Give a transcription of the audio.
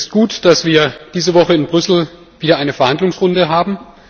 Es ist gut, dass wir diese Woche in Brüssel wieder eine Verhandlungsrunde haben.